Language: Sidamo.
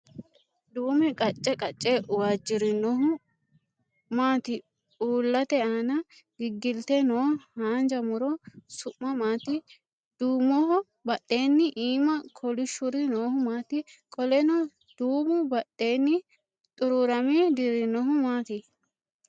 Duu'me qacce qacce waajjirinohu maati uullate aana giggilte noo haanja muro su'mi maati? Duumoho badheenni iimaa kolishshuri noohu maati? Qoleno duumu badheenni xuruurame dirrinohu maati?